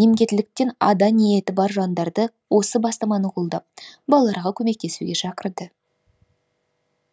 немкеттіліктен ада ниеті бар жандарды осы бастаманы қолдап балаларға көмектесуге шақырды